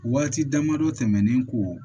Waati dama dɔ tɛmɛnen kɔ